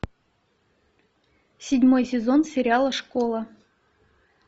седьмой сезон сериала школа